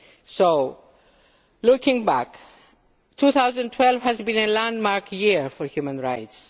Chair. So looking back, 2012 has been a landmark year for human